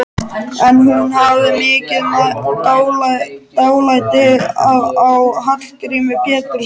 En hún hafði mikið dálæti á Hallgrími Péturssyni.